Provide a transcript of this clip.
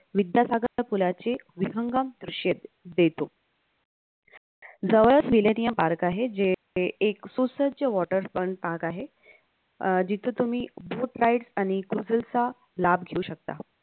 विद्या सागरच्या पुलाची विहंगम दृश्ये देतो जवळच Park आहे जे एक सुसज्ज waters fun park आहे अह जिथं तुम्ही boat ride आणि cruises चा लाभ घेऊ शकता